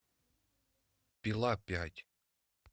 пила пять